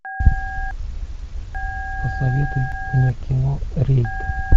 посоветуй мне кино рейд